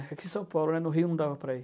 Aqui em São Paulo, né, no Rio não dava para ir.